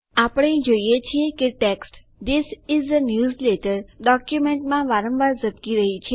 આપણે જોઈએ છીએ કે text this is a newsletter ડોક્યુમેન્ટમાં વારંવાર ઝબકી રહ્યી છે